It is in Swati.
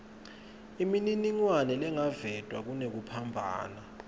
imininingwane lengakavetwa kunekuphambana